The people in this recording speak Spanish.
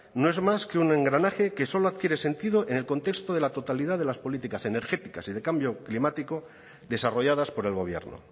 no es más que un engranaje que solo adquiere sentido en el contexto de la totalidad de las políticas energéticas y de cambio climático desarrolladas por el gobierno